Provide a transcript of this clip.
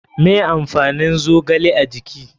Me amfanin zogale a jiki?